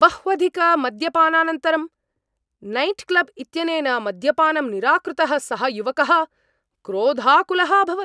बह्वधिकमद्यपानानन्तरं nightclub इत्यनेन मद्यपानं निराकृतः सः युवकः क्रोधाकुलः अभवत्।